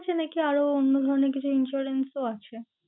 আছে নাকি আরও অন্য ধরণের কিছু insurance ও আছে?